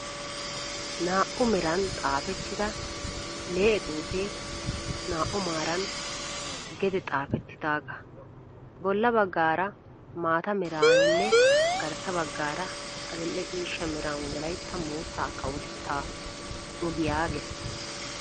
Naa"u meran xaapettida lee"e xuupe naa"u maaran gede xaapettidaagaa. Bolla baggaara maata meraninne garssa baggaara adil"e ciisha meran wolayitta mootta kawotetta ogiyaa ges.